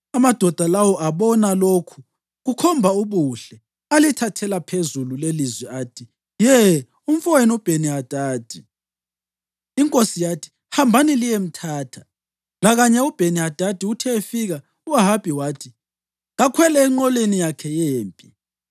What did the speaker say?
Amadoda lawo abona lokhu kukhomba ubuhle alithathela phezulu lelilizwi athi, “Ye, umfowenu uBheni-Hadadi!” Inkosi yathi, “Hambani liyemthatha.” Lakanye uBheni-Hadadi uthe efika, u-Ahabi wathi kakhwele enqoleni yakhe yempi.